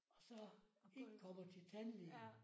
Og så ikke kommer til tandlægen